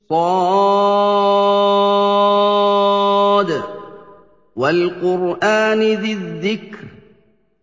ص ۚ وَالْقُرْآنِ ذِي الذِّكْرِ